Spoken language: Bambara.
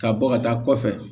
Ka bɔ ka taa kɔfɛ